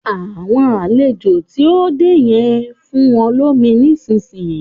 Àwọn àlejò tí o dé yen, fún wọn lómi nísìsiyìí